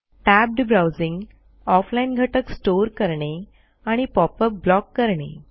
tabbed browsing off line घटक store करणे आणि pop अप ब्लॉक करणे